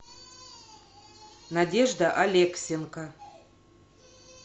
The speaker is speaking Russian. надежда алексенко